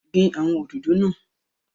Gbin awọn òdòdó náà!